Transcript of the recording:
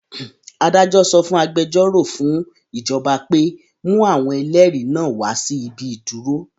Adájọ sọ fún agbẹjọ́rò fún ìjọba pé; mú àwọn ẹlẹ́rìí náà wá sí ibi ìdúró?